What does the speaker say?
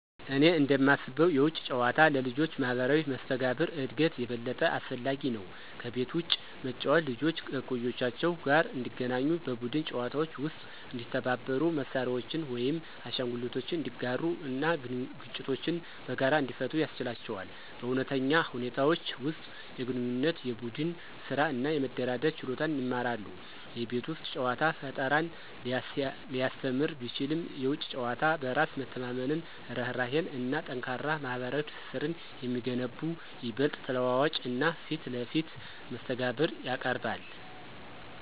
እኔ እንደማስበው የውጪ ጨዋታ ለልጆች ማህበራዊ መስተጋብር እድገት የበለጠ አስፈላጊ ነው። ከቤት ውጭ መጫወት ልጆች ከእኩዮቻቸው ጋር እንዲገናኙ, በቡድን ጨዋታዎች ውስጥ እንዲተባበሩ, መሳሪያዎችን ወይም አሻንጉሊቶችን እንዲጋሩ እና ግጭቶችን በጋራ እንዲፈቱ ያስችላቸዋል. በእውነተኛ ሁኔታዎች ውስጥ የግንኙነት፣ የቡድን ስራ እና የመደራደር ችሎታን ይማራሉ። የቤት ውስጥ ጨዋታ ፈጠራን ሊያስተምር ቢችልም፣ የውጪ ጨዋታ በራስ መተማመንን፣ ርህራሄን እና ጠንካራ ማህበራዊ ትስስርን የሚገነቡ ይበልጥ ተለዋዋጭ እና ፊት ለፊት መስተጋብር ያቀርባል።